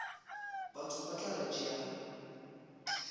batho ba tla re tšea